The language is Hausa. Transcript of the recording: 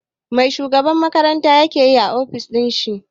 Mai shugaban makaranta ke yi a ofishin shi?